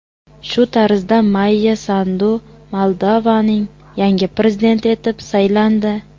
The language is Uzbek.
Shu tariqa Mayya Sandu Moldovaning yangi prezidenti etib saylandi.